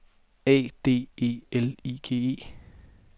A D E L I G E